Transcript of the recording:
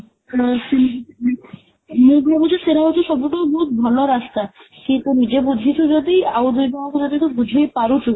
ସେଇ ହଁ ସେଇ ମୁଁ ଭାବୁଛି ସେରା ହଉଚି ସବୁଠୁ ବହୁତ ଭଲ ରାସ୍ତା କିନ୍ତୁ ନିଜେ ବୁଝିଛୁ ଯଦି ଆଉ ଦୁଇ ଜଣକୁ ଯଦି ବୁଝେଇ ପାରୁଛୁ